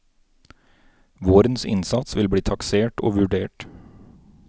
Vårens innsats vil bli taksert og vurdert.